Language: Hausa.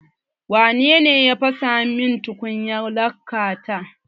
Wa nene ya fasa min tukunyar laka ta?